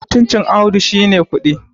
mutuncin Audu shi ne kuɗi